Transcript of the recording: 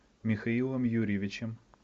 михаилом юрьевичем